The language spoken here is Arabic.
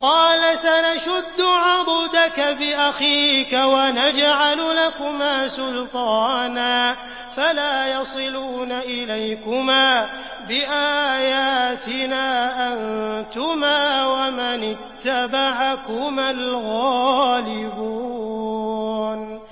قَالَ سَنَشُدُّ عَضُدَكَ بِأَخِيكَ وَنَجْعَلُ لَكُمَا سُلْطَانًا فَلَا يَصِلُونَ إِلَيْكُمَا ۚ بِآيَاتِنَا أَنتُمَا وَمَنِ اتَّبَعَكُمَا الْغَالِبُونَ